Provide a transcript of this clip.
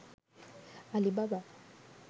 alibaba